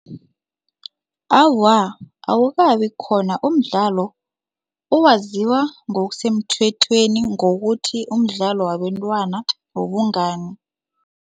Awa, awukabi khona umdlalo owaziwa ngokusemthethweni ngokuthi umdlalo wabentwana wobungani.